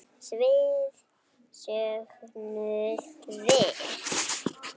Svið sögðum við.